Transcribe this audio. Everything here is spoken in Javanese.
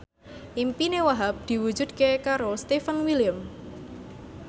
impine Wahhab diwujudke karo Stefan William